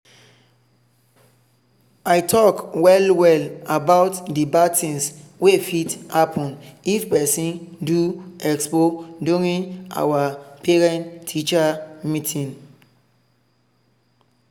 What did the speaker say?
i talk well well about the bad things wey fit happen if person do expo during our parent-teacher meeting.